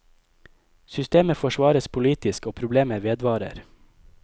Systemet forsvares politisk, og problemet vedvarer.